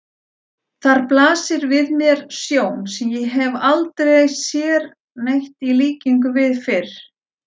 Þar blasir við mér sjón sem ég hef aldrei sér neitt í líkingu við fyrr.